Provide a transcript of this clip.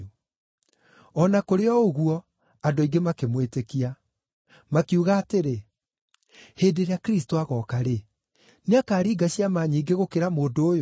O na kũrĩ o ũguo, andũ aingĩ makĩmwĩtĩkia. Makiuga atĩrĩ, “Hĩndĩ ĩrĩa Kristũ agooka-rĩ, nĩakaringa ciama nyingĩ gũkĩra mũndũ ũyũ?”